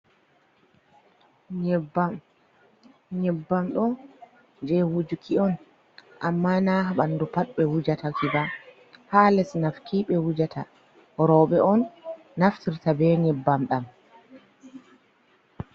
Nyebbam ɗo je wujuki on, amma na ha bandu pat ɓe wujata ki ba; ha les nafki be wujata. Robe on naftirta be nyebbam ɗam.